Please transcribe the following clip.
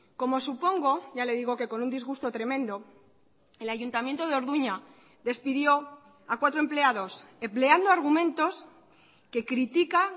como supongo ya le digo que con un disgusto tremendo el ayuntamiento de orduña despidió a cuatro empleados empleando argumentos que critica